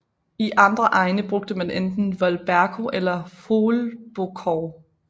I andre egne brugte man enten volberko eller hwolbokow